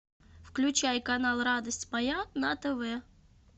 включай канал радость моя на тв